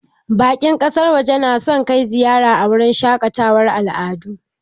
Bakin ƙasar waje na son kai ziyara a wurin shaƙatawar al'adu